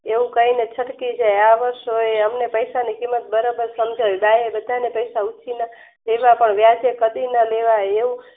એવું કાય નાચડતી થાય જાય આ વર્ષે એમને પૈસા ની કિંમત બરાબર સમજાયી બા એ બધા ન પૈસા ઉછીના વ્યાજે કડીના